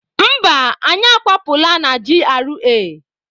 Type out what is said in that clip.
Mba, anyị akwapụla na GRA.